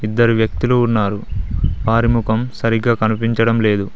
ఇద్దరు వ్యక్తులు ఉన్నారు వారి ముఖం సరిగ్గా కనిపించడం లేదు.